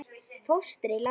Fóstri látinn.